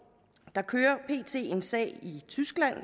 der kører pt en sag i tyskland